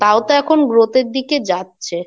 তাও তো এখন growth এর দিকে যাচ্ছে।